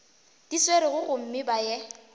di swerego gomme ba ye